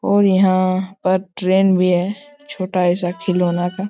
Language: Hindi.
और यहां पर ट्रेन भी है छोटा ऐसा खिलाउने का--